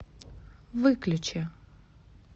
выключи